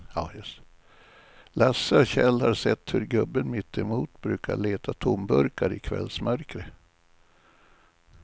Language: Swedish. Lasse och Kjell har sett hur gubben mittemot brukar leta tomburkar i kvällsmörkret.